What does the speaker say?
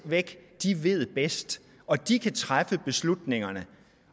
væk ved bedst og at de kan træffe beslutningerne